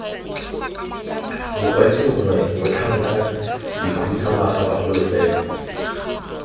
bakwadisi gongwe batlhankedikhuduthamaga bagolo fela